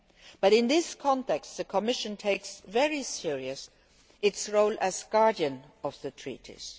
But in this context, the Commission takes very seriously its role as guardian of the Treaties.